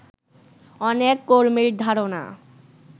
অনেক কর্মীর ধারণা